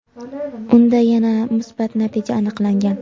unda yana musbat natija aniqlangan.